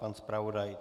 Pan zpravodaj?